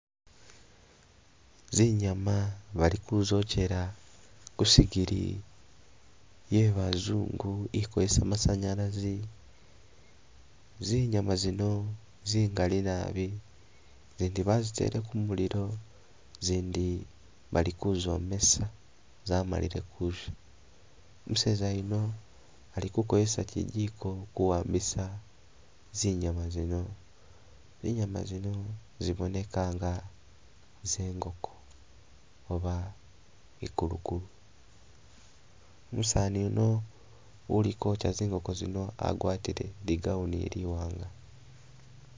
Zinyama bali kuzokyela ku sigiri ye bazungu i kozesa masanyalazi, zinyama zino zingali naabi, zindi bazitele ku mulilo zindi bali kuzomesa zamalile kusha, umuseza yuno alikukozesa kyijiko ku wambisa zinyama zino, zinyama zino ziboneka nga ze ngoko oba i kulukulu, umusani yuno uli kwokya zingoko zino agwatile i gown ili iwanga.